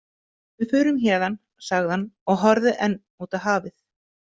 Við förum héðan, sagði hann og horfði enn út á hafið.